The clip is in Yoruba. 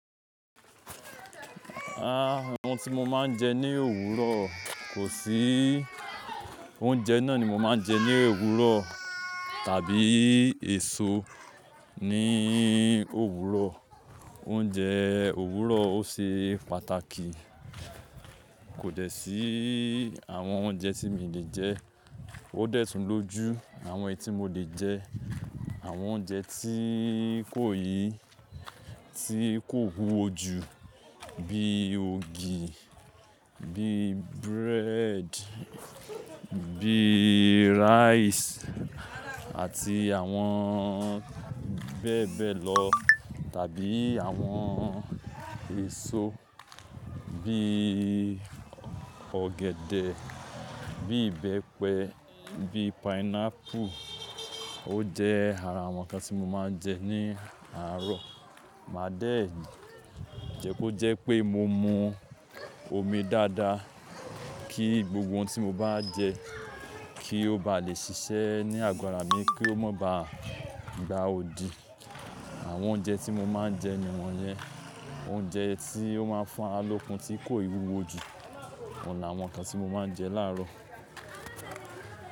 Ah! Àwọn ti mo máa ń jẹ ní òwúrọ̀ kò sí, oúnjẹ náà ni mo máa ń jẹ ní òwúrọ̀ tàbí èso ní òwúrọ̀. Oúnjẹ òwúrọ̀ ó ṣe pàtàkì kò dẹ̀ sí àwọn oúnjẹ tí mi lè jẹ, ó dẹ̀ tún lójú àwọn etí mo lè jẹ. Àwọn oúnjẹ tí kò yí, tí kò wúwo jù bí ògì, bí bread, bí rice àti àwọn bẹ́ẹ̀ bẹ́ẹ̀ lọ tàbí àwọn èso bí ọ̀gẹ̀dẹ̀, bí ìbẹ́pẹ, bí pineapple ó jẹ́ ara àwọn nǹkan tí mo máa ń jẹ ní àárọ̀. Màá dé èyí, jẹ́ kó jẹ́ pé mo mu omi dáadáa kí gbogbo ohun tí mo bá jẹ kí ó bá lè ṣiṣẹ́ ní àgọ́ra mi kí ó má bá gba òdì. Àwọn oúnjẹ tí mo máa ń jẹ ni wọ́n yẹn. Oúnjẹ tí ó máa ń fún ara lokun tí kò wúwo jù, òun làwọn nkan tí mo máa ń jẹ láàárọ̀.